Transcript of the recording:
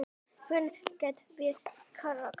Hvernig get ég kvatt þig?